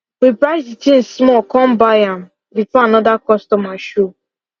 we price the thing small come buy am before another customer show